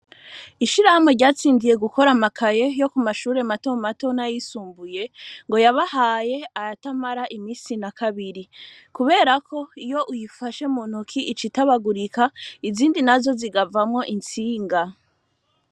Ishirahamwe ryatsindiye gukora amakaye yo ku mashure mato matona yisumbuye ngo yabahaye ayatamara imisi na kabiri kuberako iyo uyifashe mu ntoki ic itabagurika izindi na zo zigavamwo intsinga.